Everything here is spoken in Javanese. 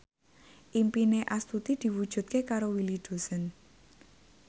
impine Astuti diwujudke karo Willy Dozan